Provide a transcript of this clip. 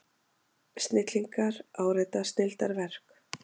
Snillingar árita snilldarverk